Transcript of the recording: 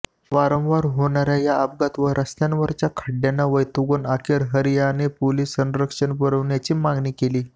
वारंवार होणाऱ्या या अपघात व रस्त्यांवरच्या खड्ड्यांना वैतागून अखेर हरियाने पोलीस संरक्षण पुरवण्याची मागणी केली